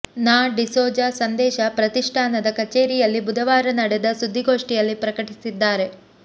ನಾ ಡಿಸೋಜ ಸಂದೇಶ ಪ್ರತಿಷ್ಠಾನದ ಕಚೇರಿಯಲ್ಲಿ ಬುಧವಾರ ನಡೆದ ಸುದ್ದಿಗೋಷ್ಠಿಯಲ್ಲಿ ಪ್ರಕಟಿಸಿದ್ದಾರೆ